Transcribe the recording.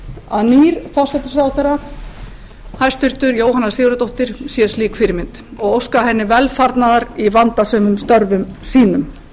að nýr forsætisráðherra hæstvirtur jóhanna sigurðardóttir sé slík fyrirmynd og óska henni velfarnaðar í vandasömum störfum sínum